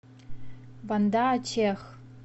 банда ачех